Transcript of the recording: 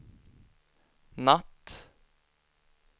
natt